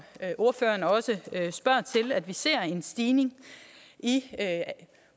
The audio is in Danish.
ordføreren også spørger til vi ser en stigning i